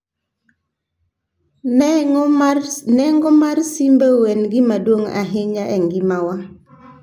Nengo mar simbeu en gima duong' ahinya e ngimawa